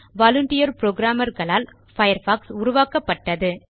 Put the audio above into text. volunteer programmer களால் Firefox உருவாக்கப்பட்டது